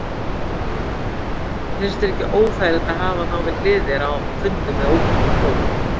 Finnst þér ekki óþægilegt að hafa þá við hlið þér á fundum við ókunnugt fólk?